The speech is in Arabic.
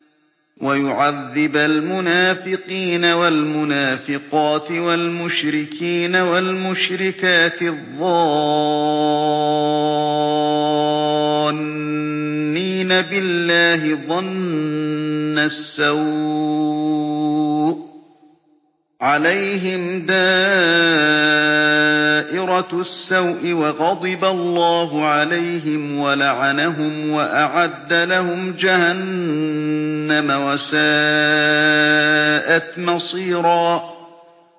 وَيُعَذِّبَ الْمُنَافِقِينَ وَالْمُنَافِقَاتِ وَالْمُشْرِكِينَ وَالْمُشْرِكَاتِ الظَّانِّينَ بِاللَّهِ ظَنَّ السَّوْءِ ۚ عَلَيْهِمْ دَائِرَةُ السَّوْءِ ۖ وَغَضِبَ اللَّهُ عَلَيْهِمْ وَلَعَنَهُمْ وَأَعَدَّ لَهُمْ جَهَنَّمَ ۖ وَسَاءَتْ مَصِيرًا